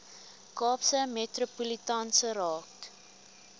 kaapse metropolitaanse raad